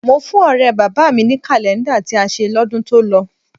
Mo fún ọ̀rẹ́ bàbá mi ní kàlẹ́ńdà tí a ṣe lọ́dún tó lọ